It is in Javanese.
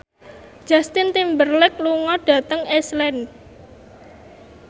Justin Timberlake lunga dhateng Iceland